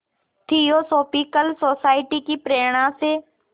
theosophical Society की प्रेरणा से